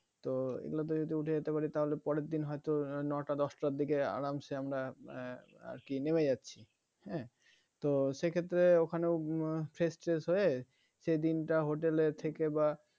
তো এগুলোতে যদি উঠে যেতে পারি তাহলে পরের দিন হয়তো নয়টা দশটার দিকে আরামসে আমরা এর নেমে যাচ্ছি হ্যাঁ তো সে ক্ষেত্রেও ওখানেও ফ্রেশ ট্রেস হয়ে সেদিনটা হোটেলে থেকে বা